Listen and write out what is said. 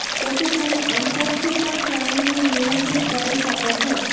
તેથી તમે અંતરથી પણ પ્રાણીને નિયંત્રિત કરી શકો છો